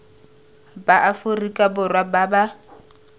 ba aforika borwa ba ba